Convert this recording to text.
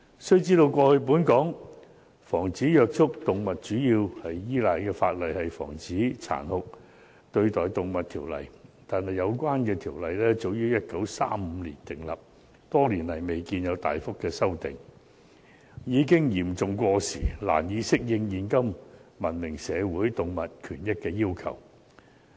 須知道，過去本港防止虐待動物主要依賴的法例是《防止殘酷對待動物條例》，但有關條例早於1935年訂立，多年來未見有大幅修訂，已經嚴重過時，難以適應現今文明社會動物權益的要求。